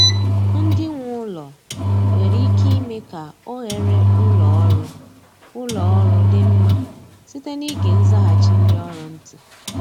Ndị nwe ụlọ nwere ike ime ka oghere ụlọ ọrụ ụlọ ọrụ dị mma site n’ịge nzaghachi ndị ọrụ ntị